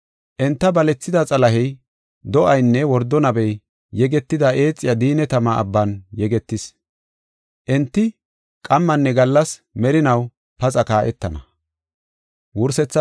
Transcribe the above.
Enta balethida Xalahey, do7aynne wordo nabey yegetida eexiya diinne tama abban yegetis. Enti qammanne gallas merinaw paxa kaa7etana.